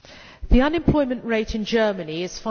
The unemployment rate in Germany is